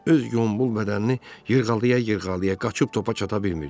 Öz Qombul bədənini yırğalaya-yırğalaya qaçıb topa çata bilmirdi.